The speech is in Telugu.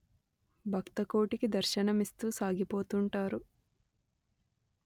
భక్త కోటికి దర్శనమిస్తూ సాగిపోతుంటారు